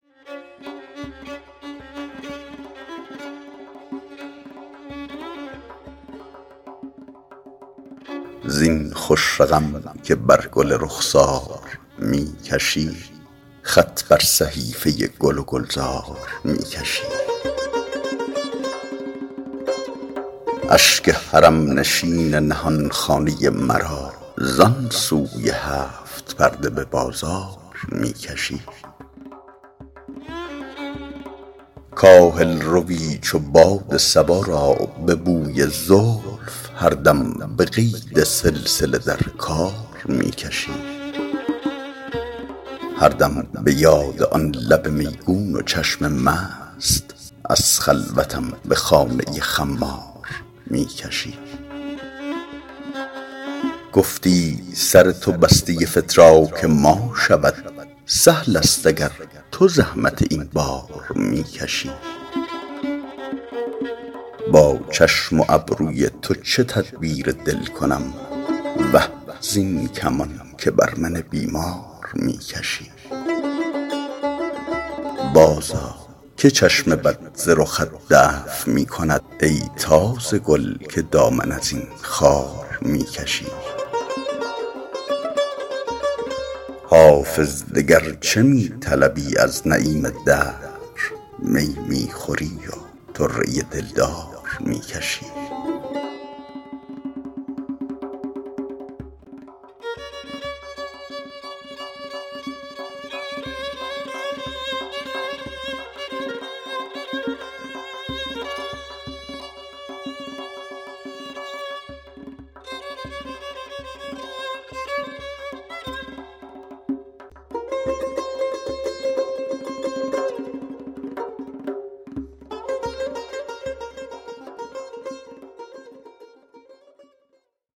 زین خوش رقم که بر گل رخسار می کشی خط بر صحیفه گل و گلزار می کشی اشک حرم نشین نهان خانه مرا زان سوی هفت پرده به بازار می کشی کاهل روی چو باد صبا را به بوی زلف هر دم به قید سلسله در کار می کشی هر دم به یاد آن لب میگون و چشم مست از خلوتم به خانه خمار می کشی گفتی سر تو بسته فتراک ما شود سهل است اگر تو زحمت این بار می کشی با چشم و ابروی تو چه تدبیر دل کنم وه زین کمان که بر من بیمار می کشی بازآ که چشم بد ز رخت دفع می کند ای تازه گل که دامن از این خار می کشی حافظ دگر چه می طلبی از نعیم دهر می می خوری و طره دلدار می کشی